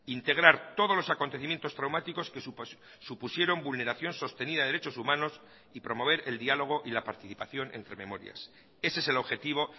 integrar todos los acontecimientos traumáticos que supusieron vulneración sostenida de derechos humanos y promover el diálogo y la participación entre memorias ese es el objetivo